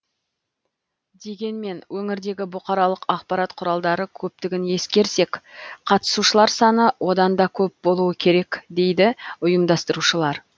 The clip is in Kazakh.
дегенмен өңірдегі бұқаралық ақпарат құралдары көптігін ескерсек қатысушылар саны одан да көп болуы керек еді дейді ұйымдастырушылар